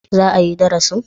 Za a yi darasin?